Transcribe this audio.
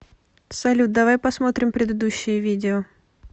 салют давай посмотрим предыдущее видео